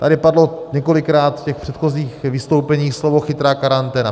Tady padlo několikrát v těch předchozích vystoupeních slovo chytrá karanténa.